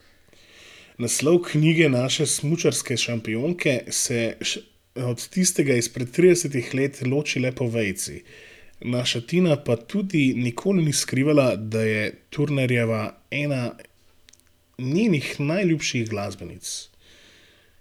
Naslov knjige naše smučarske šampionke se od tistega izpred tridesetih let loči le po vejici, naša Tina pa tudi nikoli ni skrivala, da je Turnerjeva ena njenih najljubših glasbenic.